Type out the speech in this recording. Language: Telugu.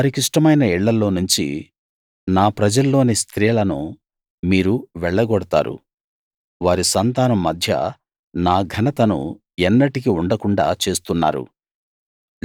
వారికిష్టమైన ఇళ్ళల్లోనుంచి నా ప్రజల్లోని స్త్రీలను మీరు వెళ్లగొడతారు వారి సంతానం మధ్య నా ఘనతను ఎన్నటికీ ఉండకుండాా చేస్తున్నారు